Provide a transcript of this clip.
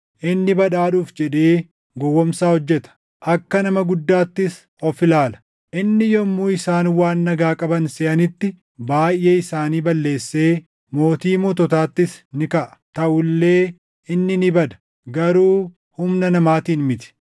Inni badhaadhuuf jedhee gowwoomsaa hojjeta; akka nama guddaattis of ilaala. Inni yommuu isaan waan nagaa qaban seʼanitti baayʼee isaanii balleessee Mootii moototaattis ni kaʼa. Taʼu illee inni ni bada; garuu humna namaatiin miti.